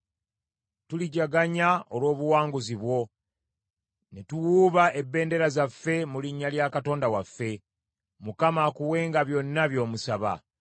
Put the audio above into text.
Tulijaganya olw’obuwanguzi bwo, ne tuwuuba ebendera zaffe mu linnya lya Katonda waffe. Mukama akuwenga byonna by’omusaba.